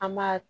An m'a